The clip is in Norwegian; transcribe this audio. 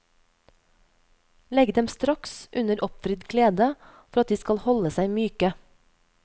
Legg dem straks under oppvridd klede for at de skal holde seg myke.